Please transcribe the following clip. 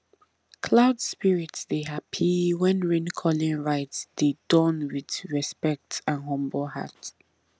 cloud spirit dey happy when raincalling rite dey Accepted with respect and humble heart